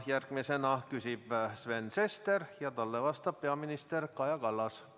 Järgmisena küsib Sven Sester ja talle vastab peaminister Kaja Kallas.